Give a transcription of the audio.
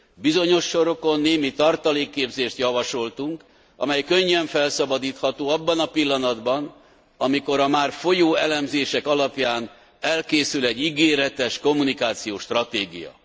Bizonyos sorokon némi tartalékképzést javasoltunk, amely könnyen felszabadítható abban a pillanatban, amikor a már folyó elemzések alapján elkészül egy ígéretes kommunikációs stratégia.